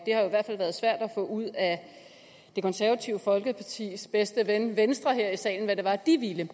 har jo i hvert fald været svært at få ud af det konservative folkepartis bedste ven venstre her i salen hvad det var de ville